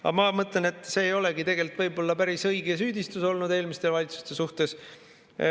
Aga ma mõtlen, et see ei olegi võib-olla päris õige süüdistus eelmiste valitsuste suhtes.